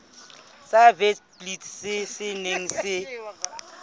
sa witblits se neng se